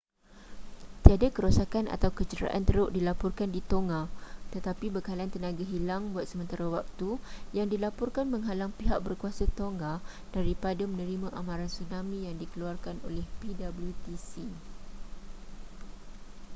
tiada kerosakan atau kecederaan teruk dilaporkan di tonga tetapi bekalan tenaga hilang buat sementara waktu yang dilaporkan menghalang pihak berkuasa tonga daripada menerima amaran tsunami yang dikeluarkan oleh ptwc